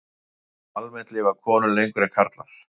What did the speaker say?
Almennt lifa konur lengur en karlar.